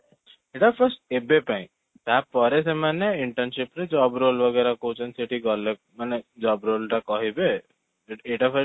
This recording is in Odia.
ଏଇଟା first ଏବେ ପାଇଁ ତା'ପରେ ସେମାନେ internship ରେ job role କହୁଛନ୍ତି ସେଠି ଗଲେ ମାନେ job role ଟା କହିବେ ଏଟା first